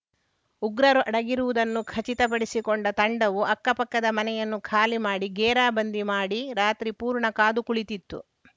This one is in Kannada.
ಉಗ್ರರು ಅಡಗಿರುವುದನ್ನು ಖಚಿತಪಡಿಸಿಕೊಂಡ ತಂಡವು ಅಕ್ಕಪಕ್ಕದ ಮನೆಯನ್ನು ಖಾಲಿ ಮಾಡಿ ಗೇರಾ ಬಂದಿ ಮಾಡಿ ರಾತ್ರಿ ಪೂರ್ಣ ಕಾದು ಕುಳಿತಿತ್ತು